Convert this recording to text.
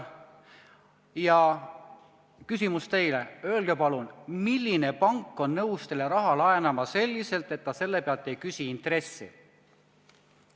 Minu küsimus teile on järgmine: öelge palun, milline pank on nõus teile raha laenama nii, et ta selle pealt intressi ei küsi?